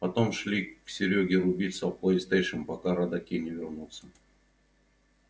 потом шли к серёге рубиться в плейстейшн пока родаки не вернутся